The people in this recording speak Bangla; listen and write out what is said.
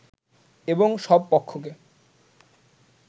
এবং সব পক্ষকে